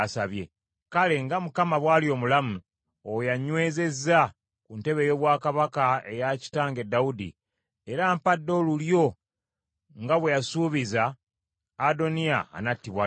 Kale nga Mukama bw’ali omulamu, oyo annywezezza ku ntebe ey’obwakabaka eya kitange Dawudi, era ampadde olulyo nga bwe yasuubiza, Adoniya anattibwa leero!”